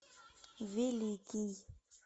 великий